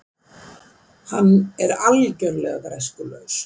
Hann sem er algjörlega græskulaus.